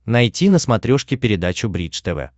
найти на смотрешке передачу бридж тв